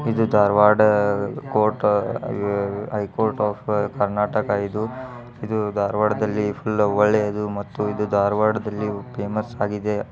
ಇದು ಧಾರವಾಡ ಕೋಟ high court of Karnataka ಇದು. ಇದು ಧಾರ್ವಾಡದಲ್ಲಿ ಒಳ್ಳೇದು ಮತ್ತು ಇದು ಧಾರ್ವಾರ್ದಲ್ಲಿ ಫೇಮಸ್ ಆಗಿದೆ.